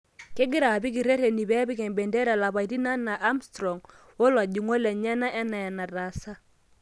Kegira apik ireteni pepik embendera lapaitin anaa Armstrong wolajungok lenyena ana enatasa.